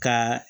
Ka